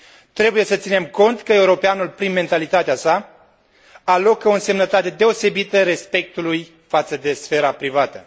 Trebuie să ținem cont că europeanul, prin mentalitatea sa, alocă o însemnătate deosebită respectului față de sfera privată.